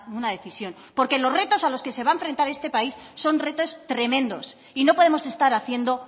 una decisión porque los retos a los que se va a enfrentar en este país son retos tremendos y no podemos estar haciendo